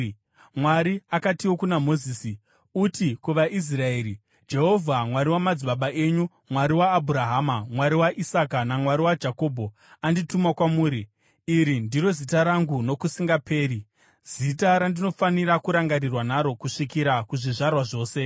Mwari akatiwo kuna Mozisi, “Uti kuvaIsraeri, ‘Jehovha, Mwari wamadzibaba enyu, Mwari waAbhurahama, Mwari waIsaka naMwari waJakobho andituma kwamuri.’ Iri ndiro zita rangu nokusingaperi, zita randinofanira kurangarirwa naro kusvikira kuzvizvarwa zvose.